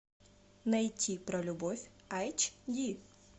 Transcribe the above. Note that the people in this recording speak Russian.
найти про любовь айч ди